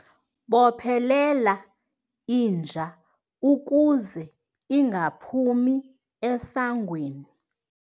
Bophelela inja ukuze ingaphumi esangweni